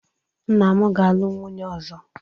Nna m ga-alụ nwunye ọzọ